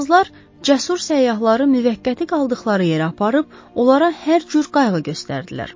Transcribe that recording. Fransızlar cəsur səyyahları müvəqqəti qaldıqları yerə aparıb onlara hər cür qayğı göstərdilər.